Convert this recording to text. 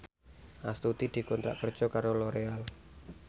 Astuti dikontrak kerja karo Loreal